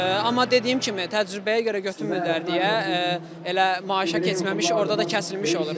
Amma dediyim kimi təcrübəyə görə götürmürlər deyə elə maaşa keçməmiş orda da kəsilmiş olur.